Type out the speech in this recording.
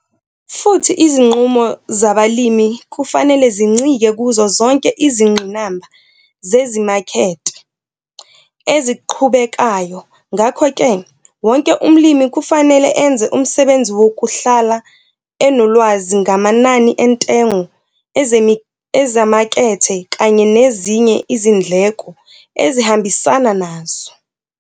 Futhi izinqumo zabalimi kufanele zincike kuzo zonke izingqinamba zezimakethe eziqhubekayo - ngakho ke wonke umlimi kufanele enze umsebenzi wokuhlala enolwazi ngamanani entengo ezimakethe kanye nezinye izindleko ezihambisana nazo.